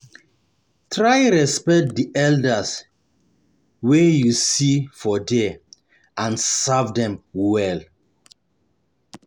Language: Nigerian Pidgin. Try respect di elder um wey um you see for there and serve dem well